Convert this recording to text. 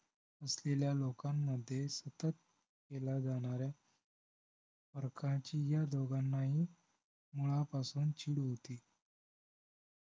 असलेल्या लोकांमध्ये सतत केल्या जाणाऱ्या फरकाची या दोघांनाही मुळापासून चिड होती